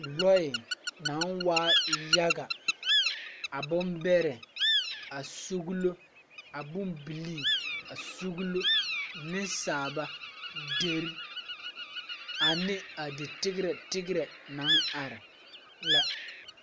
Lɔɛ naŋ waa yaga a bon bɛrɛ a suglo a bon bilii a suglo neŋsaaba dere ane a di tigrɛ tigrɛ naŋ are la.